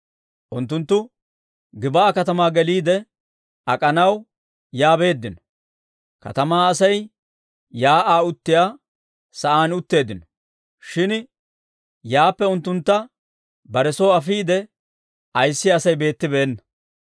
Unttunttu Gib'aa katamaa geliide ak'anaw, yaa beeddino; katamaa Asay shiik'uwaa uttiyaa sa'aan utteeddino; shin yaappe unttuntta bare soy afiide ayissiyaa Asay beettibeenna.